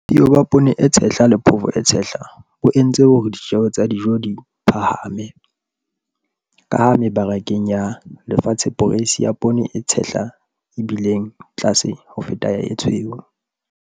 Bosiyo ba poone e tshehla le phofo e tshehla bo entse hore ditjeo tsa dijo di phahame, ka ha mebarakeng ya lefatshe poreisi ya poone e tshehla e bile tlase ho feta ya e tshweu.